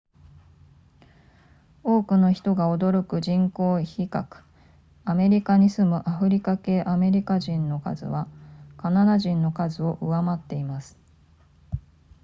多くの人が驚く人口比較アメリカに住むアフリカ系アメリカ人の数はカナダ人の数を上回っています